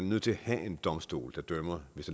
nødt til at have en domstol der dømmer hvis